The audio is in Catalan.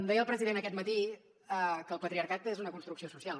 deia el president aquest matí que el patriarcat és una construcció social